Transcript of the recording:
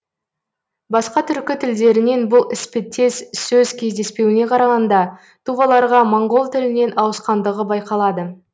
басқа түркі тілдерінен бұл іспеттес сөз кездеспеуіне қарағанда туваларға моңғол тілінен ауысқандығы байқалады